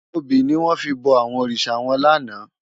Óbi niwòn fi bò àwòn órisá wán làná